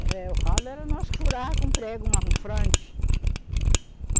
É, o ralo era nós que furava com um prego, uma frande.